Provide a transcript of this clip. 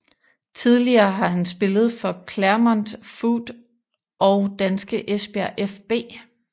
Tidligere har han spillet for Clermont Foot og danske Esbjerg fB